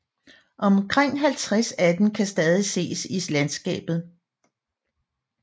Omkring 50 af dem kan stadig ses i landskabet